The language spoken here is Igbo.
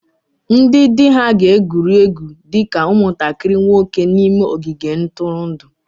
Ndị di ha ga-egwuri egwu dị ka ụmụntakịrị nwoke n'ime ogige ntụrụndụ